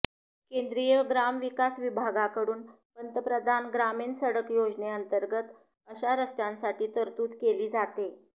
केंद्रीय ग्रामविकास विभागाकडून पंतप्रधान ग्रामीण सडक योजनेअंतर्गत अशा रस्त्यांसाठी तरतूद केली जाते